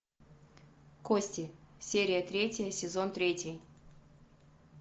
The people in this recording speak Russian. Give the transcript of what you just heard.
кости серия третья сезон третий